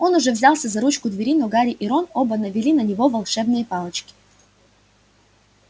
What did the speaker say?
он уже взялся за ручку двери но гарри и рон оба навели на него волшебные палочки